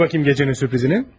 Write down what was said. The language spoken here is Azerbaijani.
Gətir görüm gecənin sürprizini.